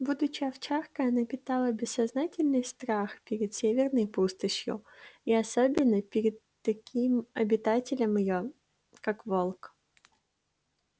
будучи овчаркой она питала бессознательный страх перед северной пустошью и особенно перед таким её обитателем как волк